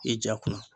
I ja kunna